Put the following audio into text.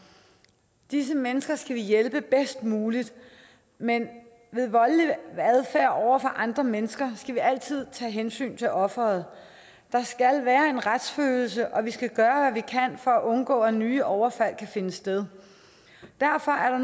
disse mennesker skal vi hjælpe bedst muligt men ved voldelig adfærd over for andre mennesker skal vi altid tage hensyn til offeret der skal være en retsfølelse og vi skal gøre hvad vi kan for at undgå at nye overfald kan finde sted derfor er